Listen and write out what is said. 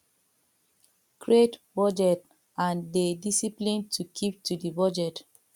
create budget and dey disciplined to keep to di budget